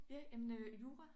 Ja jamen øh jura